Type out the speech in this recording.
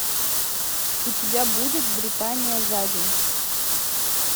у тебя будет британия за день